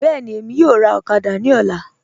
Bẹẹni, Emi yọ̀ọ̀ rà okada ni ọ̀là